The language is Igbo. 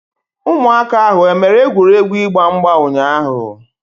Ụmụaka ahu e mere egwuregwu ịgba mgba ụnyaahụ?